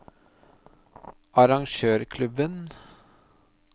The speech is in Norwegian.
arrangørklubben